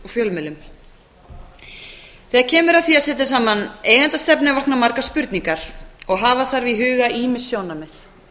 þegar kemur að því að setja saman eigendastefnu vakna margar spurningar og hafa þarf í huga ýmis sjónarmið